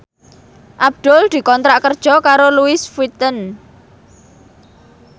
Abdul dikontrak kerja karo Louis Vuitton